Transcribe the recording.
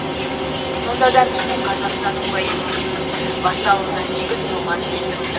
сонда да менің қазақстаным поэмасының басталуына негіз болған сезім